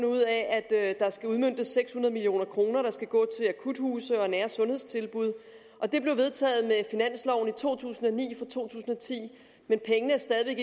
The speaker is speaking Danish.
ud af at der skal udmøntes seks hundrede million kr der skal gå til akuthuse og nære sundhedstilbud og det blev vedtaget med finansloven for to tusind og ni og to tusind og ti men pengene